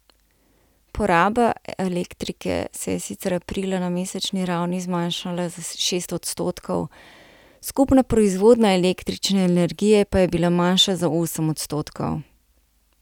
Poraba elektrike se je sicer aprila na mesečni ravni zmanjšala za šest odstotkov, skupna proizvodnja električne energije pa je bila manjša za osem odstotkov.